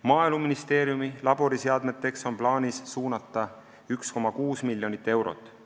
Maaeluministeeriumi laboriseadmeteks on plaanis suunata 1,6 miljonit eurot.